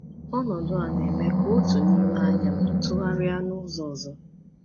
Ọnọdụ a na-eme ka otu n’ime anya m tụgharịa n’ụzọ ọzọ.